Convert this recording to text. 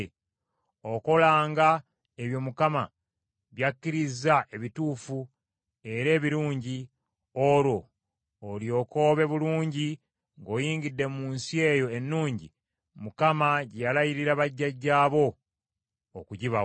Okolanga ebyo Mukama by’akkiriza ebituufu era ebirungi; olwo olyoke obe bulungi ng’oyingidde mu nsi eyo ennungi Mukama gye yalayirira bajjajjaabo okugibawa,